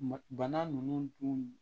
Bana nunnu dun